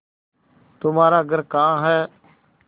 तुम्हारा घर कहाँ है